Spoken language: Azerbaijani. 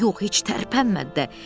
Yox, yox, heç tərpənmədi də.